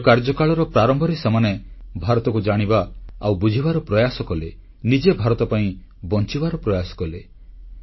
ନିଜ କାର୍ଯ୍ୟକାଳର ପ୍ରାରମ୍ଭରେ ସେମାନେ ଭାରତକୁ ଜାଣିବା ଆଉ ବୁଝିବାର ପ୍ରୟାସ କଲେ ନିଜେ ଭାରତ ପାଇଁ ବଂଚିବାର ପ୍ରୟାସ କଲେ